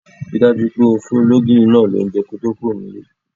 Ri dájú pé o fún ológìní náa lounje kí o to kúro nílé